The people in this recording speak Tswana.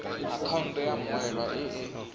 akhaonto ya mmoelwa e e